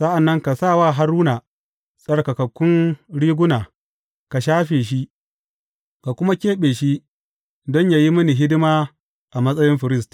Sa’an nan ka sa wa Haruna tsarkakun riguna, ka shafe shi, ka kuma keɓe shi don yă yi mini hidima a matsayin firist.